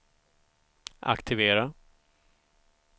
aktivera